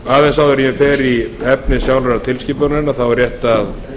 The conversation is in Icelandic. aðeins áður en ég fer í efni sjálfrar tilskipunarinnar er rétt að